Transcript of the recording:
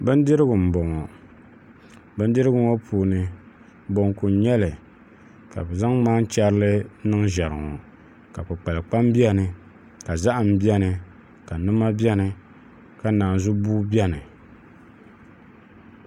Bindirigu n boŋɔ bindirigu ŋɔ puuni bonku n nyɛli ka bɛ zaŋ maanvhɛrili n niŋ ʒɛri ŋɔ ka kpukpalkpam beni ka zahim beni ka nima beni ka naanzubua beni.